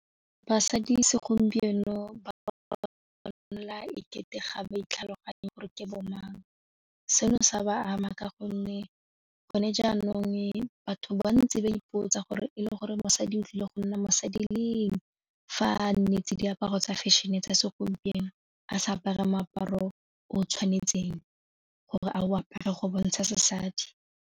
Basadi segompieno ba ranola ekete ga ba itlhaloganye gore ke bo mang seno sa ba ama ka gonne gone jaanong batho ba ba ntsi ba ipotsa gore e le gore mosadi o tlile go nna mosadi leng fa a nnetse diaparo tsa fashion-e tsa segompieno a sa apare moaparo o tshwanetseng gore a o apare go bontsha sesadi.